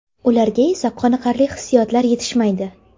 Ularga esda qolarli hissiyotlar yetishmaydi!